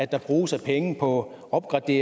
der bruges af penge på opgradering